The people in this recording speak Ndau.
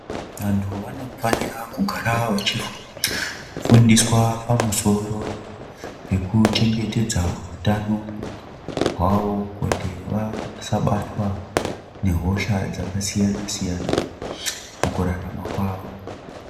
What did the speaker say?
Antu vanofana kugara vachifundiswa pamusoro pekuchengetedza utano hwavo kuti vasabatwa nehosha dzakasiyana siyana mukurarama kwavo.